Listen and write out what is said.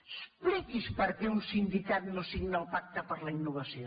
expliqui’ns per què un sindicat no signa el pacte per la innovació